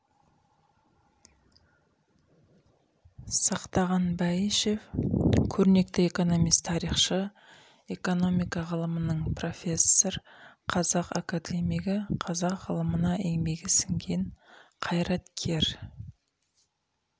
сақтаған бәйішев көрнекті экономист тарихшы экономика ғылымының профессор қазақ академигі қазақ ғылымына еңбегі сіңген қайраткер